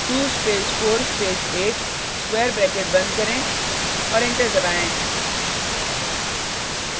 2 स्पेस4 space 8 square bracket बंद करें और एंटर दबाएँ